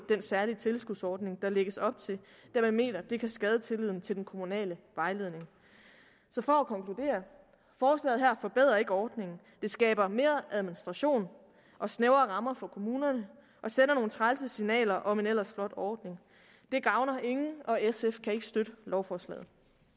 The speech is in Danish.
den særlige tilskudsordning der lægges op til da man mener at det kan skade tilliden til den kommunale vejledning så for at konkludere forslaget her forbedrer ikke ordningen det skaber mere administration og snævrere rammer for kommunerne og sender nogle trælse signaler om en ellers flot ordning det gavner ingen og sf kan ikke støtte lovforslaget